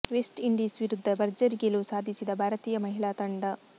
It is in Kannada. ವೆಸ್ಟ್ ಇಂಡೀಸ್ ವಿರುಧ್ದ ಭರ್ಜರಿ ಗೆಲುವು ಸಾಧಿಸಿದ ಭಾರತೀಯ ಮಹಿಳಾ ತಂಡ